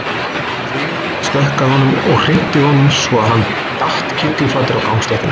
Fyrirliðinn stökk að honum og hrinti honum svo að hann datt kylliflatur á gangstéttina.